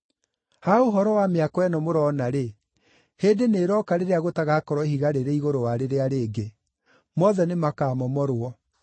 “Ha ũhoro wa mĩako ĩno mũrona-rĩ, hĩndĩ nĩĩroka rĩrĩa gũtagakorwo ihiga rĩrĩ igũrũ wa rĩrĩa rĩngĩ; mothe nĩmakamomorwo.”